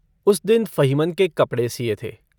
उस दिन फ़हीमन के कपड़े सिए थे।